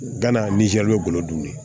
Gana nizɛri golo dun